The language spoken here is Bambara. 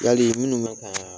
Yali minnu be k'aan